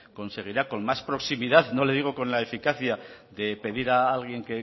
conseguirá con más proximidad no le digo con la eficacia de pedir a alguien